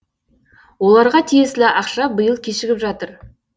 оларға тиесілі ақша биыл кешігіп жатыр